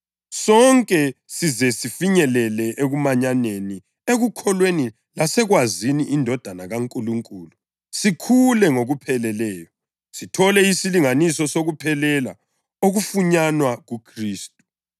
sonke size sifinyelele ekumanyaneni, ekukholweni lasekwazini iNdodana kaNkulunkulu sikhule ngokupheleleyo, sithole isilinganiso sokuphelela okufunyanwa kuKhristu.